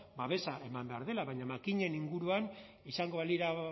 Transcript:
babesa eman behar dela baina makinen inguruan izango balira